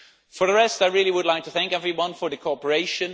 For the rest, I really would like to thank everyone for the cooperation.